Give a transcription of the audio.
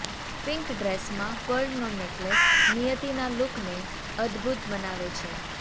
pink ડ્રેસમાં પર્લનો necklace નિયતિના લૂકને અદ્દભૂત બનાવે છે